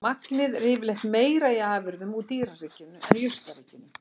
Magnið er yfirleitt meira í afurðum úr dýraríkinu en jurtaríkinu.